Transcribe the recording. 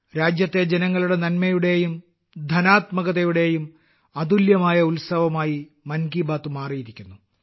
രാജ്യത്തെ ജനങ്ങളുടെ നന്മയുടെയും ധന്യാത്മകതയുടെയും അതുല്യമായ ഉത്സവമായി മൻ കി ബാത്ത് മാറിയിരിക്കുന്നു